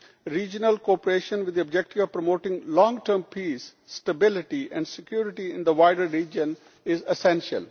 Regional cooperation, with the objective of promoting long term peace, stability and security in the wider region, is essential.